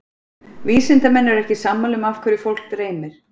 Vísindamenn eru ekki sammála um af hverju fólk dreymir.